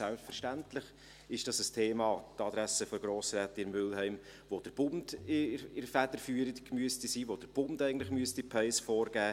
Selbstverständlich ist es ein Thema – dies an die Adresse von Grossrätin Mühlheim –, bei dem der Bund die Federführung haben sollte, wo eigentlich der Bund die Pace vorgeben sollte.